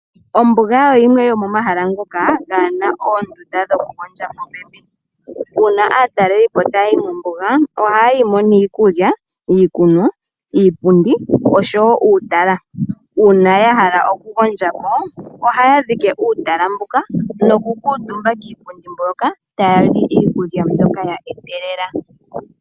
Ombuga oyo yimwe yomomahala ngoka ga na oondunda dhokugondja popepi uuna aatalelipo taya yi mombuga ohaya yimo niikulya, iikunwa, iipundi oshowo uutala uuna ya hala okugondjapo ohaya dhike uutala mbuka nokukutumba kiipundi mbyoka taya li iikulya mbyoka ya etelela.